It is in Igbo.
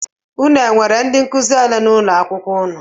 Unu enwere ndị nkụzi ole n'ụlọakwụkwọ unu?